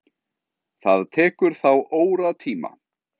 Það tekur þá óratíma.